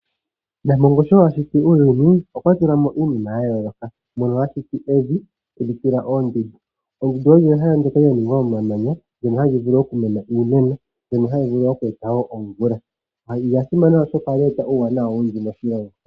Nampongo sho ashiti uuyuni okwa tulamo iinima ya yooloka, mono ashiti evi teli tula oondundu. Oondundu olyo ehala ndyoka lyaninga omamanya, ndyono hali vulu oku mena iimeno mbyono hayi vulu wo oku eta wo omvula. Olya simana oshoka ohali eta uuwanawa owundji moshilongo.